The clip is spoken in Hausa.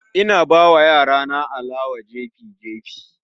Ina bawa yarana alewa jefi-jefi